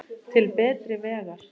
Til betri vegar.